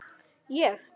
Ég?